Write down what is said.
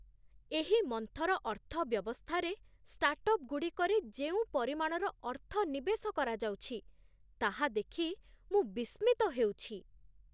ଏହି ମନ୍ଥର ଅର୍ଥବ୍ୟବସ୍ଥାରେ ଷ୍ଟାର୍ଟଅପ୍‌ସ୍‌ଗୁଡ଼ିକରେ ଯେଉଁ ପରିମାଣର ଅର୍ଥ ନିବେଶ କରାଯାଉଛି, ତାହା ଦେଖି ମୁଁ ବିସ୍ମିତ ହେଉଛି।